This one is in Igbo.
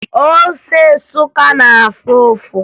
Ose Nsụka na-afụ ụfụ